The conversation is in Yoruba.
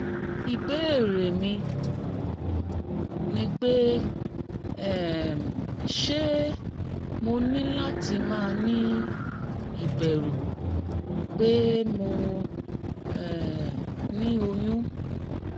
ibeere mi ni pe um se mo ni lati ma ni iberu pe mo um ni oyun?